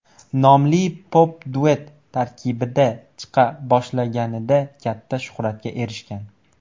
nomli pop-duet tarkibida chiqa boshlaganida katta shuhratga erishgan.